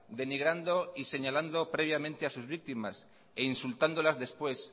denigrando y señalando previamente a sus víctimas e insultándolas después